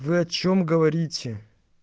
вы о чем говорите